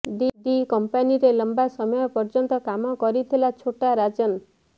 D କମ୍ପାନୀରେ ଲମ୍ବା ସମୟ ପର୍ଯ୍ୟନ୍ତ କାମ କରିଥିଲା ଛୋଟା ରାଜନ୍